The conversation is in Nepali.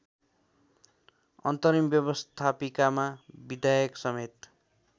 अन्तरिम व्यवस्थापिकामा विधायकसमेत